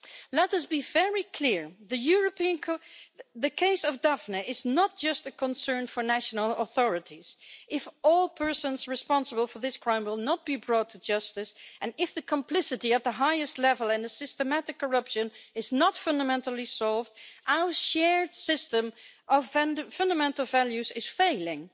Let us be very clear the case of Daphne is not just a concern for national authorities. If all persons responsible for this crime are not brought to justice and if the complicity at the highest level and systematic corruption is not fundamentally solved, our shared system of fundamental values is failing.